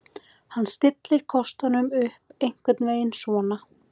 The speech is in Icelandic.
Hann stillir kostunum upp einhvern veginn svona: